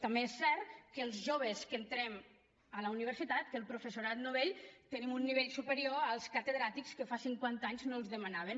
també és cert que els joves que entrem a la universitat el professorat novell tenim un nivell superior als catedràtics que fa cinquanta anys no els el demanaven